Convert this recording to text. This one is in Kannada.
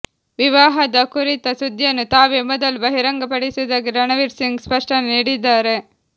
ವಿವಾಹದ ಕುರಿತ ಸುದ್ದಿಯನ್ನು ತಾವೇ ಮೊದಲು ಬಹಿರಂಗಪಡಿಸುವುದಾಗಿ ರಣವೀರ್ಸಿಂಗ್ ಸ್ಪಷ್ಟನೆ ನೀಡಿದ್ದಾರೆ